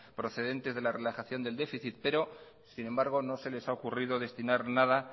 procedente de la relajación del déficit pero sin embargo no se les ha ocurrido destinar nada